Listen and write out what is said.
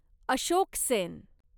Ashok Sen